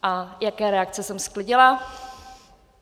A jaká reakce jsem sklidila?